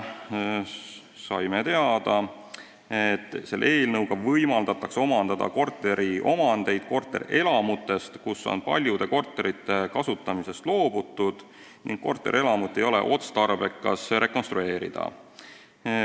Saime teada, et selle eelnõuga võimaldatakse omandada korteriomandeid korterelamutest, kus on paljude korterite kasutamisest loobutud ning korterelamut ei ole otstarbekas rekonstrueerida.